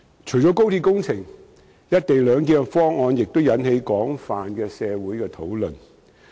除了高鐵工程外，"一地兩檢"方案亦引起了社會的廣泛討論。